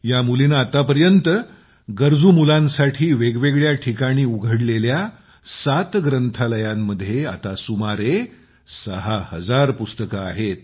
या मुलीने आतापर्यंत गरजू मुलांसाठी वेगवेगळ्या ठिकाणी उघडलेली सात ग्रंथालयांमध्ये आता सुमारे 6 हजार पुस्तके आहेत